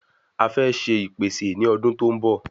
A fẹ́ ṣe ipese ni ọdún tó n bọ